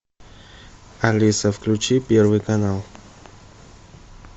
алиса включи первый канал